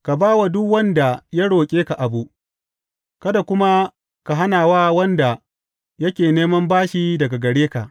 Ka ba wa duk wanda ya roƙe ka abu, kada kuma ka hana wa wanda yake neman bashi daga gare ka.